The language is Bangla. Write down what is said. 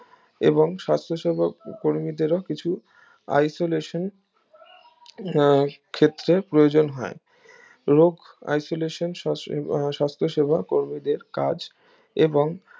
এবং শাস্ত্ৰ সেবক কর্মীদেরও কিছু isolation আহ ক্ষেত্রে প্রয়োজন হয় রোগ isolation আহ সাস্থ সেবা কর্মীদের কাজ এবং